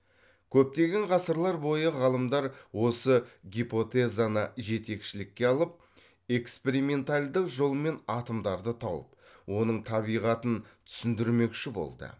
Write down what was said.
көптеген ғасырлар бойы ғалымдар осы гипотезаны жетекшілікке алып эксперименталдық жолмен атомдарды тауып оның табиғатын түсіндірмекші болды